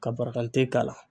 Ka barakante k'a la.